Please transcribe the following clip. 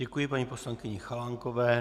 Děkuji paní poslankyni Chalánkové.